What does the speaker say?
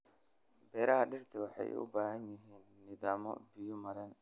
Beeraha dhirta waxay u baahan yihiin nidaam biyo-mareen.